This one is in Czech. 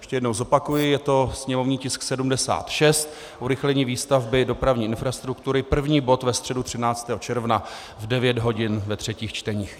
Ještě jednou zopakuji, je to sněmovní tisk 76, urychlení výstavby dopravní infrastruktury, první bod ve středu 13. června v 9 hodin, ve třetích čteních.